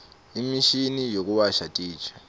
imishini yekuwasha titja